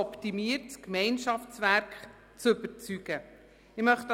Verpflichtungskredit für die Ausführung».